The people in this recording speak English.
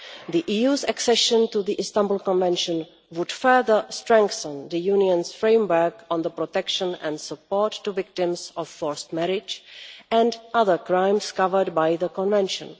The EU's accession to the Istanbul Convention would further strengthen the Union's framework on protection of and support to victims of forced marriage and other crimes covered by the Convention.